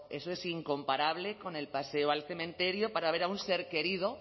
eso es incomparable con el paseo al cementerio para ver a un ser querido